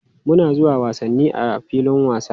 Muna zuwa wasanni a filin wasa.